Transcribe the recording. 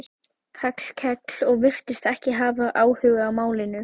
Hallkell og virtist ekki hafa áhuga á málinu.